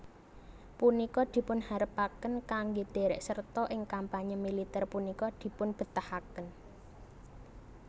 Punika dipunharepken kangge derek serta ing kampanye militer punika dipunbetahaken